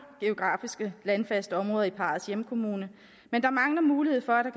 geografiske landfaste områder i parrets hjemkommune men der mangler mulighed for